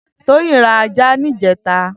Toyin rà àjá nijètá